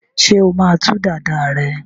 ṣe ọ má tú Dàda rẹ?